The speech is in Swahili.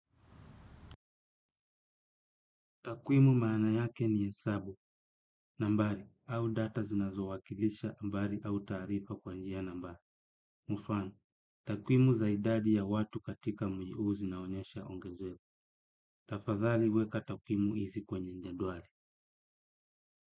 Takwimu maana yake ni hesabu, nambari, au data zinazowakilisha, ambari, au tarifa kwa njia nambari. Mufano, takwimu zaidadi ya watu katika mji uuzi na onyesha ongezeko. Tafadhali weka takwimu hizi kwenye jedwali.